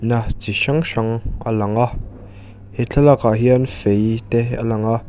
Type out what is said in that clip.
chi hrang hrang a lang a he thlalakah hian fei te a lang a.